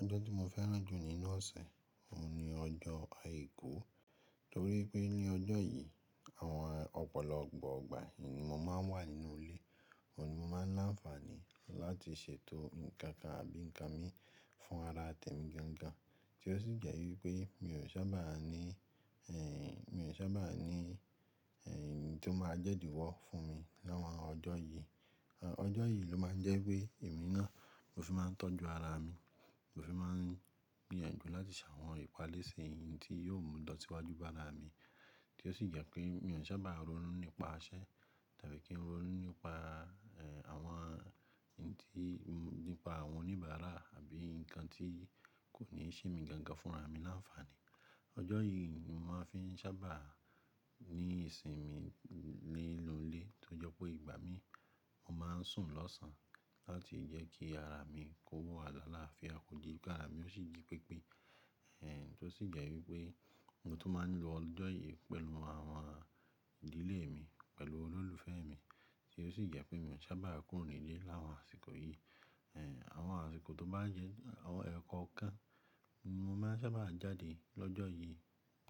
Ọjọ́ tí mo fẹ́ràn jù nínú ọ̀sẹ̀, òun ni ọjọ́ Àìkú. Nítorí pé ní ọjọ́ yìí, àwọn ọ̀pọ̀lọpọ̀ ọgbà èyí ni mo máa ń wà nínú ilé. Òun ni mo máa ńi áǹfààní láti ṣètò nǹkankan àbí nǹkan mi fún ara tẹ̀mí gangan, tí ó sì jẹ́ wípé mi ò sábà ní, ẹ́, mi ò sábà ní, ẹ́, èyí tó máa jẹ́ idi wọ́ fún mi láwọn ọjọ́ yìí. Ọjọ́ yìí ló máa ń jẹ́ wípé èmi náà mo fi máa ń tọ́jú ara mi, mo fi máa ń gbìyànjú láti sàwọn ìpalẹ́ṣe eyín tí yóò mú ìlósíwájú bá ara mi. Tí ó sì jẹ́ pé mi ò sábà ronú nípa iṣẹ́ tàbí kí n ronú nípa, ẹ́, àwọn eyín tí, nípa àwọn oníbàárà àbí nǹkan tí kò ní ṣe mi gangan fún ara mi áǹfààní. Ọjọ́ yìí ni mo máa ń fi sábà ní ìsinmi ninu ilé tó jọ pé ìgbà mi, mo máa ń sùn lọ́sàn láti jẹ́ kí ara mi kó wa ni àláfia kọ̀dí kí ara mi ó sì di pípí. Ẹ́, Tí ó sì jẹ́ wípé ohun tó máa ń lọ lọ́jọ́ yìí pẹ̀lú àwọn ìdílé mi, pẹ̀lú olólùfẹ́ mi. Tí ó sì jẹ́ pé mi ò sábà kúrò nílé láwọn àsìkò yìí. Ẹ́, Àwọn àsìkò tó bá jẹ́ àwọn ẹ̀kan kan ni mo máa ń sábà jáde lọ́jọ́ yìí,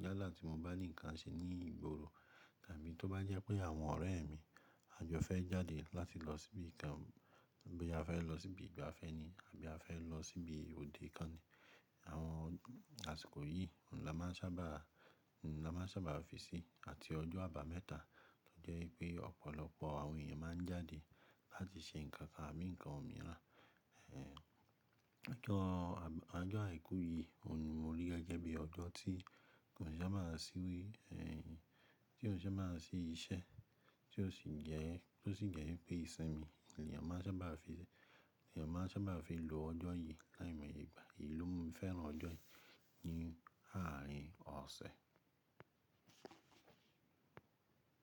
yálà tí mo bá ní nǹkan ṣe ní ìgboro tàbí tó bá jẹ́ pé àwọn ọ̀rẹ́ mi a jọ fẹ́ jáde láti lọ síbi nǹkan, boya fẹ́ lọ síbi ìgbafẹ́ ni àbí a fẹ́ lọ síbi òde kan ni. Àwọn àsìkò yìí ni a máa ń sábà, ni a máa ń sábà fi síi àti ọjọ́ àbámẹ́ta tó jẹ́ wípé ọ̀pọ̀lọpọ̀ àwọn èèyàn máa ń jáde láti ṣe nǹkan àbí nǹkan mìíràn. Ẹ́, Ọjọ́ Àìkú yìí òun ni mo rí gẹ́gẹ́ bí ọjọ́ tí kò ní sábà síwé, ẹ́, tí ò sábà sí iṣẹ́ tí ó sì jẹ́, tí ó sì jẹ́ wípé ìsinmi ni a máa ń sábà fi ṣe, ni a máa ń sábà fi lò ọjọ́ yìí láìmọ̀ye ìgbà yìí ló mi fẹ́ràn ọjọ́ yìí ní àárín ọ̀sẹ̀.